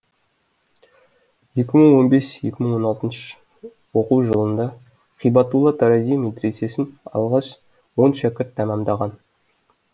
екі мың он бес екі мың он алтыншы оқу жылында һибатулла тарази медресесін алғаш он шәкірт тәмәмдаған